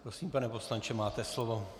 Prosím, pane poslanče, máte slovo.